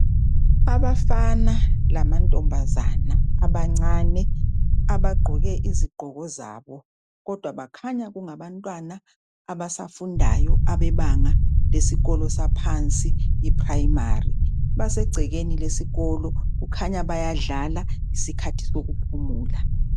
Abafana lamantombazane abancane abagqoke izigqoko zabo, kodwa bakhanya kungabantwana abasafundayo, abebanga lesikolo saphansi iPrimary. Basegcekeni lesikolo kukhanya bayadlala ,yisikhathi sokuphumula.